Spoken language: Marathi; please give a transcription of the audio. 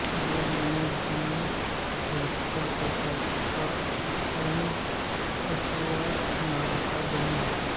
गेरी आणि जीन ह्यांचा स्वतःचा साऊंड अफेअर नावाचा बँड होता